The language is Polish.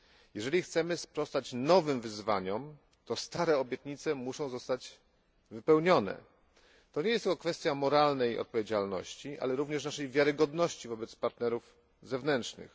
Jeżeli chcemy sprostać nowym wyzwaniom, to stare obietnice muszą zostać wypełnione, to nie jest tylko kwestia moralnej odpowiedzialności, ale również naszej wiarygodności wobec partnerów zewnętrznych.